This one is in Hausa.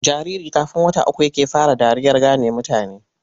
Jariri kafn wata uku yake fara dariyar gane mutane.